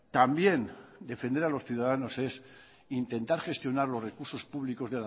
también defender a los ciudadanos es intentar gestionar los recursos públicos